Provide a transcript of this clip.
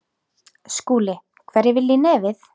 SKÚLI: Hverjir vilja í nefið.